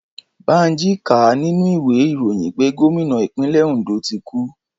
Bánjí ká á nínú ìwé ìròyìn pé Gomina Ìpínlẹ̀ Òndó ti kú